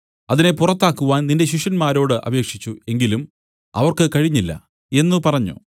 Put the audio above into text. അതിനെ പുറത്താക്കുവാൻ നിന്റെ ശിഷ്യന്മാരോട് അപേക്ഷിച്ചു എങ്കിലും അവർക്ക് കഴിഞ്ഞില്ല എന്നു പറഞ്ഞു